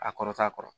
A kɔrɔta kɔrɔ